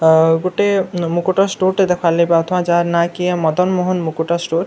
ଅ ଗୁଟେ ମୁକୁଟ ଷ୍ଟୋରଟେ ଦେଖବାର ଲାଗି ପାଉଥିବା ଯାହାର ନାଁ କି ମଦନ ମୋହନ ମୁକୁଟ ଷ୍ଟୋର।